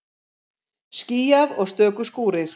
Skýjað og stöku skúrir